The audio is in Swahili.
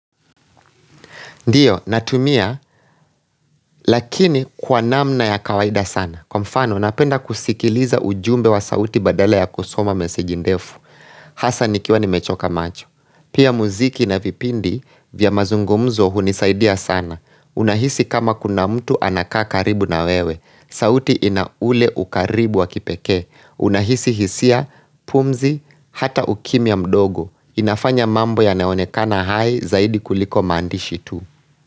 Ndiyo, natumia, lakini kwa namna ya kawaida sana. Kwa mfano, napenda kusikiliza ujumbe wa sauti badala ya kusoma meseji ndefu. Hasa nikiwa nimechoka macho. Pia muziki na vipindi vya mazungumzo hunisaidia sana. Unahisi kama kuna mtu anakaa karibu na wewe. Sauti ina ule ukaribu wa kipekee. Unahisi hisia, pumzi, hata ukimya mdogo. Inafanya mambo yanaonekana hai zaidi kuliko maandishi tu.